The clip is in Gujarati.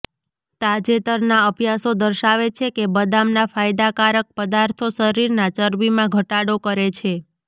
તાજેતરના અભ્યાસો દર્શાવે છે કે બદામના ફાયદાકારક પદાર્થો શરીરના ચરબીમાં ઘટાડો કરે છે